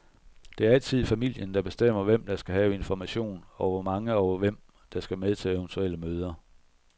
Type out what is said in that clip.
Det er altid familien, der bestemmer, hvem der skal have information, og hvor mange og hvem, der skal med til eventuelle møder.